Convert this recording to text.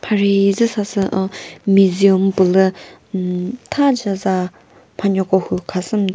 mhari hi dzüsa sü uhhh museum pülü ummm thazü za mhanuo ko hu khasüm ta.